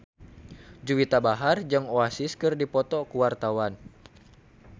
Juwita Bahar jeung Oasis keur dipoto ku wartawan